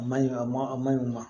A man ɲi a ma a man ɲi wa